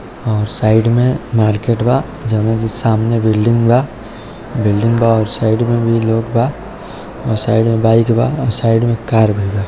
और साइड में मार्केट वा जइमे सामने बिल्डिंग बा बिल्डिंग बा और साइड में लोग बा और साइड में बाइक बा और साइड में कार भी बा।